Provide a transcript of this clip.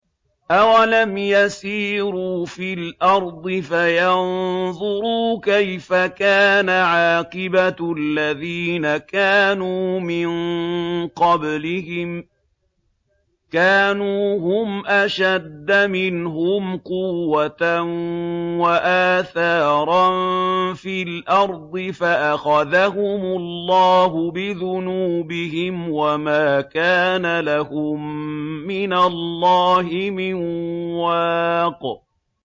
۞ أَوَلَمْ يَسِيرُوا فِي الْأَرْضِ فَيَنظُرُوا كَيْفَ كَانَ عَاقِبَةُ الَّذِينَ كَانُوا مِن قَبْلِهِمْ ۚ كَانُوا هُمْ أَشَدَّ مِنْهُمْ قُوَّةً وَآثَارًا فِي الْأَرْضِ فَأَخَذَهُمُ اللَّهُ بِذُنُوبِهِمْ وَمَا كَانَ لَهُم مِّنَ اللَّهِ مِن وَاقٍ